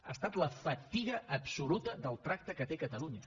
ha estat la fatiga absoluta del tracte que té catalunya